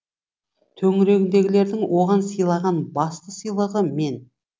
төңірегіндегілердің оған сыйлаған басты сыйлығы мен